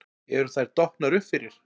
Eru þær dottnar upp fyrir?